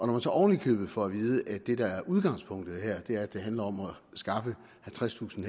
man så oven i købet får at vide at det der er udgangspunktet her er at det handler om at skaffe halvtredstusind